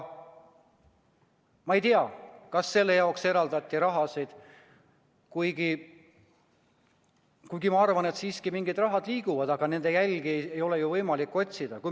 Ma ei tea, kas selle jaoks eraldati raha, kuigi ma arvan, et mingid rahad siiski liiguvad, aga nende jälgi ei ole ju võimalik otsida.